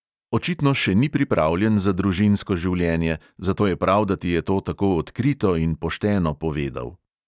Očitno še ni pripravljen za družinsko življenje, zato je prav, da ti je to tako odkrito in pošteno povedal.